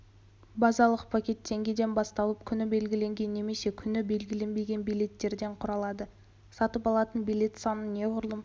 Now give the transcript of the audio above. базалық пакет теңгеден басталып күні белгіленген немесе күні белгіленбеген билеттерден құралады сатып алатын билет санын неғұрлым